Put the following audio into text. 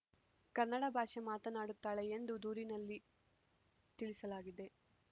ಕನ್ನಡ ಭಾಷೆ ಮಾತನಾಡುತ್ತಾಳೆ ಎಂದು ದೂರಿನಲ್ಲಿ ತಿಳಿಸಲಾಗಿದೆ